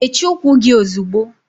Mechie ụkwụ gị ozigbo!